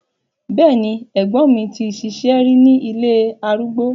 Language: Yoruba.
Bẹ́ẹ̀ni, ẹ̀gbọ́n mi ti ṣiṣẹ́ rí ní ilé arúgbó.